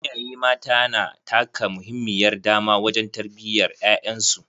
Iyaye mata na taka muhimmiyar dama wajen tarbiyyar ƴaƴan su.